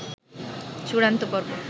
চূাড়ন্ত পর্ব